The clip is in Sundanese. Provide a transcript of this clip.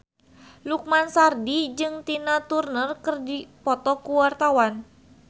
Lukman Sardi jeung Tina Turner keur dipoto ku wartawan